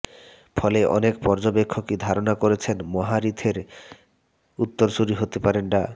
ফলে অনেক পর্যবেক্ষকই ধারণা করছেন মাহাথিরের উত্তরসূরি হতে পারেন ডা